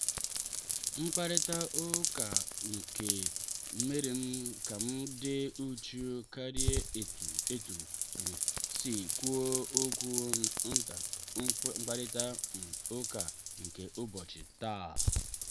mkparita ụka ahụ merem kam dị uchu karịa etum etum um si kwuo okwu na mkparita um ụka nke ụbọchị taa.